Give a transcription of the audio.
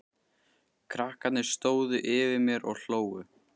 Krakkarnir stóðu yfir mér og hlógu.